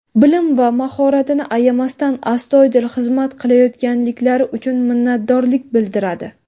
bilim va mahoratini ayamasdan astoydil xizmat qilayotganliklari uchun minnatdorlik bildiradi!.